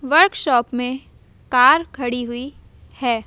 Workshop में car खड़ी हुई है।